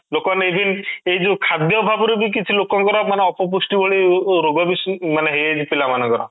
ଲୋକ ମାନେ even ଏଇ ଯୋଉ ଖାଦ୍ୟ ଅଭାବରୁ ବି କିଛି ଲୋକଙ୍କର ମାନେ ଅପପୃଷ୍ଟି ଭଳି ରୋଗ ହେଇଯାଇଥିଲା ପିଲାମାନଙ୍କର